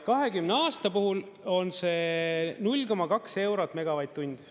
20 aasta puhul on see 0,2 eurot megavatt-tund.